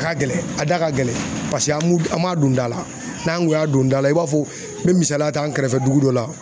ka gɛlɛn a da ka gɛlɛn paseke an m'u an m'a don da la n'an kun y'a don da la i b'a fɔ n be misaliya ta an kɛrɛfɛ dugu dɔ la